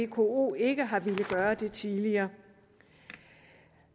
vko ikke har villet gøre det tidligere